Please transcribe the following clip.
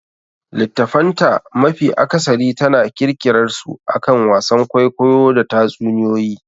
Littattafan ta mafi akasari tana kirkirarsu akan wasan kwaikwayo da tatsuniyoyi.